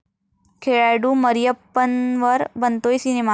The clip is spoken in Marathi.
खेळाडू मरियप्पनवर बनतोय सिनेमा